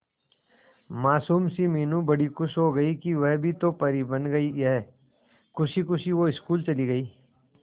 मासूम सी मीनू बड़ी खुश हो गई कि वह भी तो परी बन गई है खुशी खुशी वो स्कूल चली गई